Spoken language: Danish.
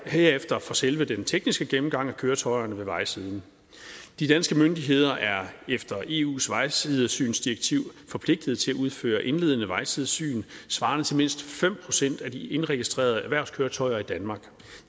herefter for selve den tekniske gennemgang af køretøjerne ved vejsiden de danske myndigheder er efter eus vejsidesynsdirektiv forpligtet til at udføre indledende vejsidesyn svarende til mindst fem procent af de indregistrerede erhvervskøretøjer i danmark